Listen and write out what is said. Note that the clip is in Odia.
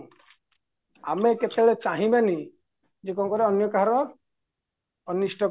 ଆମେ କେତେବେଳେ ଚାହିଁବାନି ଯେ ଅନ୍ୟ କାହାର ଅନିଷ୍ଟ